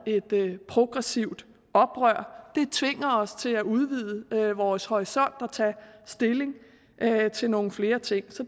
i progressivt oprør det tvinger os til at udvide vores horisont og tage stilling til nogle flere ting så